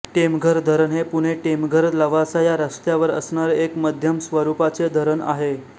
टेमघर धरण हे पुणेटेमघरलवासा या रस्त्यावर असणारे एक मध्यम स्वरूपाचे धरण आहे